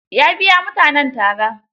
Ya biya mutanen tara.